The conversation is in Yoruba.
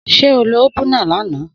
Sé o ló ópùná làná?